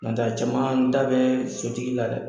Nɔtɛ a caman da bɛ sotigi la dɛ!